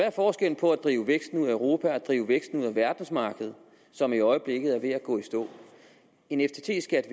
er forskellen på at drive væksten ud af europa og drive væksten ud af verdensmarkedet som i øjeblikket er ved at gå i stå en ftt skat